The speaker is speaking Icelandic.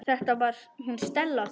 Þetta var hún Stella okkar.